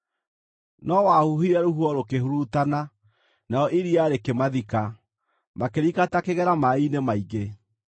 No wahuhire rũhuho rũkĩhurutana, narĩo iria rĩkĩmathika, makĩrika ta kĩgera maaĩ-inĩ maingĩ.